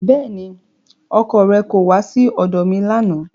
Bẹ́ẹ̀ni, ọkọ rẹ kò wá sí ọ̀dọ̀ mi lánàá